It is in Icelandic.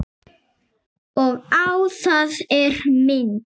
Og á það er minnt.